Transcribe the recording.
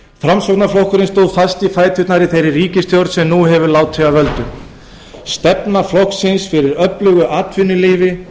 framsóknarflokkurinn stóð fast í fæturnar í þeirri ríkisstjórn sem nú hefur látið af völdum stefna flokksins fyrir öflugu atvinnulífi